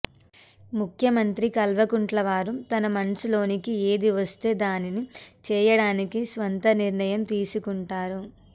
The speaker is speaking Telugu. ముఖ్యమంత్రి కల్వకుంట్లవారు తన మనసులోనికి ఏది వస్తే దానిని చేయడానికి స్వంత నిర్ణయం తీసుకొంటారు